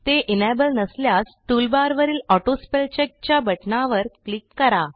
ते एनेबल नसल्यास टूलबारवरील AutoSpellCheckच्या बटणावर क्लिक करा